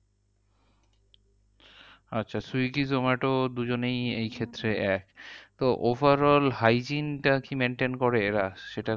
আচ্ছা zomato swiggy দুজনেই এইক্ষেত্রে এক। তো overall hygiene টা কি maintain করে এরা? সেটা